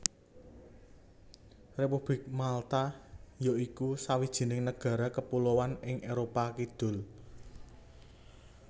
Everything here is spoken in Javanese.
Republik Malta ya iku sawijining nagara kepuloan ing Éropah Kidul